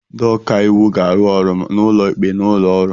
Ndị ọka iwu ga-arụ ọrụ ma n'ụlọ ikpe na ụlọ ọrụ